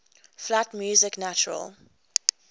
flat music natural